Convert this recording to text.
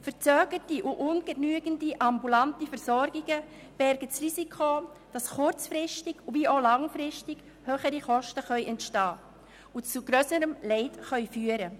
Verzögerte und ungenügende ambulante Versorgungen bergen das Risiko, dass kurz- wie auch langfristig höhere Kosten entstehen und es zu grösserem Leid kommt.